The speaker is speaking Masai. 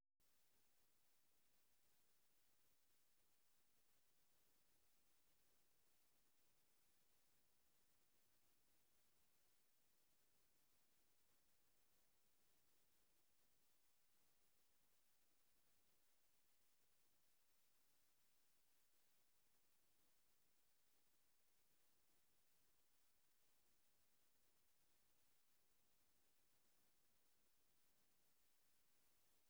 Empty audio file.